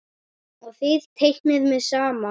Og þið teiknið mikið saman?